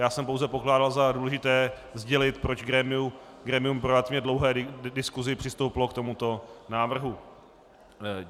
Já jsem pouze pokládal za důležité sdělit, proč grémium po relativně dlouhé diskusi přistoupilo k tomuto návrhu.